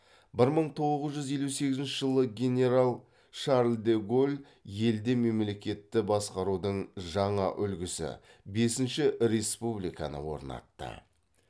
бір мың тоғыз жүз елу сегізінші жылы генерал шарль де голль елде мемлекетті басқарудың жаңа үлгісі бесінші республиканы орнатты